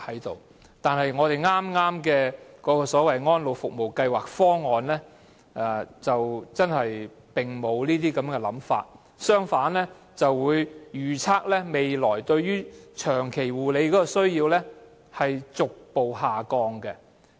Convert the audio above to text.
不過，剛才提及的《安老服務計劃方案》卻沒有這樣的想法，當中反而預測本港未來對長期護理的需要會逐步下降。